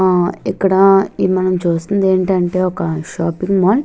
ఆ ఇక్కడ ఈ మనం చూస్తుంది ఎమిటి అంటే ఒక షాపింగ్ మాల్ --